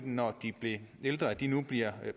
når de blev ældre som nu bliver